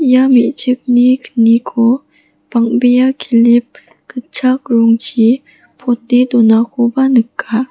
ia me·chikni kniko bang·bea kilip gitchak rongchi pote donakoba nika.